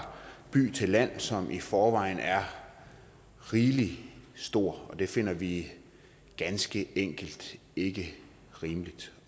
by til land som i forvejen er rigelig stor det finder vi ganske enkelt ikke rimeligt